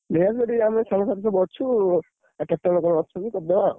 ନେଇଆସିବୁ ଅଛୁ, ଆଉ କେତବେଳେ କଣ ଆସିବୁ କରିଦବା ଆଉ।